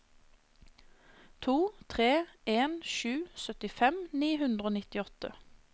to tre en sju syttifem ni hundre og nittiåtte